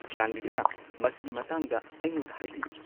ꯆꯥꯟꯕꯤꯗꯨꯅ ꯃꯁꯤꯒꯤ ꯃꯇꯥꯡꯗ ꯑꯩꯉꯣꯟꯗ ꯍꯥꯏꯕꯤꯌꯨ꯫